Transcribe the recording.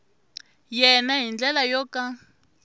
yena hi ndlela yo ka